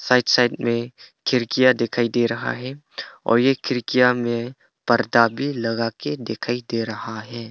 Right side में खिड़कियां दिखाई दे रहा है और ये खिड़कियां में पर्दा भी लगाके दिखाई दे रहा है।